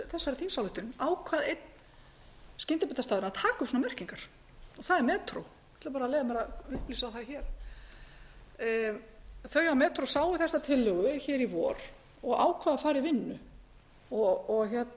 þessari þingsályktun ákvað einn skyndibitastaðurinn að taka upp svona merkingar og það er metró ég ætla að leyfa mér að upplýsa það hér þau á metró sáu þessa tillögu í vor og ákváðu að fara